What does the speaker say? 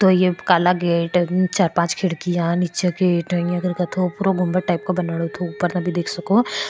तो ये काला गेट चार पांच खिड़किया निचे गेट एक थो उपरो गुमट टाइप बनी --